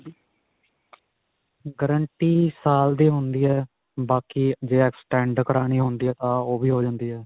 guarantee ਸਾਲ ਦੀ ਹੁੰਦੀ ਹੈ, ਬਾਕੀ ਜੇ extend ਕਰਵਾਉਣੀ ਹੁੰਦੀ ਆ ਤਾਂ ਓਹ ਵੀ ਹੋ ਜਾਂਦੀ ਹੈ.